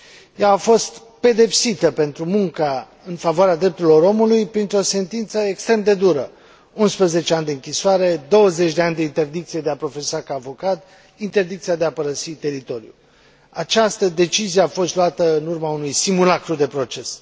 Ea a fost pedepsită pentru munca în favoarea drepturilor omului printr o sentință extrem de dură 11 ani de închisoare, 20 de ani de interdicție de a profesa ca avocat, interdicția de a părăsi teritoriul. Această decizie a fost luată în urma unui simulacru de proces.